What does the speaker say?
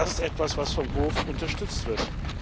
Das ist etwas, was vom Hof unterstützt wird.